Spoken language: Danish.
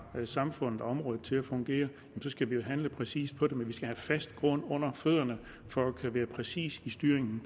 få samfundet og området til at fungere så skal vi handle præcist på det men vi skal have fast grund under fødderne for at kunne være præcis i styringen